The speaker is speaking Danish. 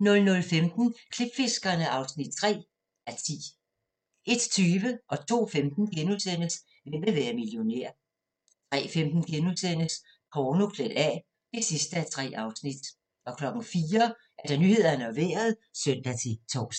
00:15: Klipfiskerne (3:10) 01:20: Hvem vil være millionær? * 02:15: Hvem vil være millionær? * 03:15: Porno klædt af (3:3)* 04:00: Nyhederne og Vejret (søn-tor)